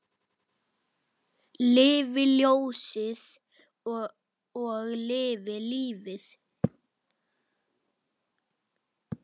Lifi ljósið og lifi lífið!